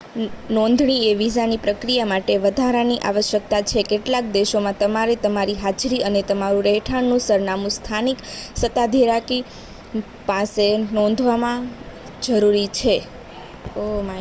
નોંધણી એ વિઝાની પ્રક્રિયા માટે વધારાની આવશ્યકતા છે કેટલાક દેશોમાં તમારે તમારી હાજરી અને તમારું રહેઠાણનું સરનામું સ્થાનિક સત્તાધિકારી પાસે નોંધાવવું જરૂરી છે